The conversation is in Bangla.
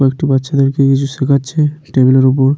কয়েকটি বাচ্চাদেরকে ইংরেজি শেখাচ্ছে টেবিল -এর ওপর।